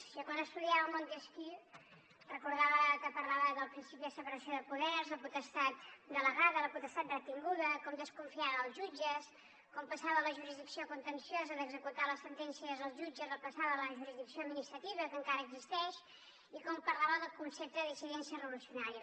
jo quan estudiava a montesquieu recordava que parlava del principi de separació de poders la potestat delegada la potestat retinguda com desconfiar dels jutges com passava la jurisdicció contenciosa d’executar les sentències als jutges i la passava a la jurisdicció administrativa que encara existeix i com parlava del concepte de dissidència revolucionària